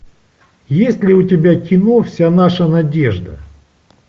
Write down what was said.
есть ли у тебя кино вся наша надежда